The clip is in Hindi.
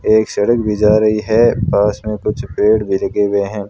एक सड़क भी जा रही है पास में कुछ पेड़ भी लगे हुए हैं।